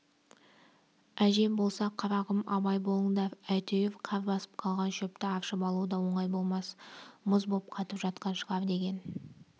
әжем болса қарағым абай болыңдар әйтеуір қар басып қалған шөпті аршып алу да оңай болмас мұз боп қатып жатқан шығар деген